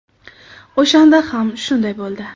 O‘shanda ham shunday bo‘ldi.